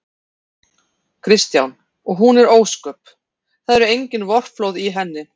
Kristján: Og hún er ósköp. það eru engin vorflóð í henni?